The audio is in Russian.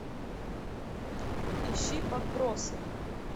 ищи подбросы